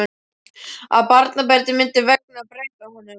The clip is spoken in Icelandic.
Að barnabörnin myndu megna að breyta honum.